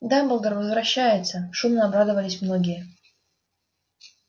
дамблдор возвращается шумно обрадовались многие